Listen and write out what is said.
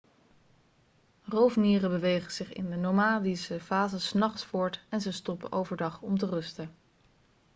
roofmieren bewegen zich in de nomadische fase s nachts voort en ze stoppen overdag om te rusten